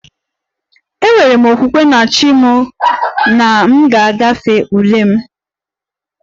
Enwere m okwukwe na 'chi' m na m ga-agafe ule m